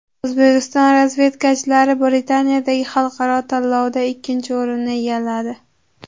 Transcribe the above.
O‘zbekiston razvedkachilari Britaniyadagi xalqaro tanlovda ikkinchi o‘rinni egalladi.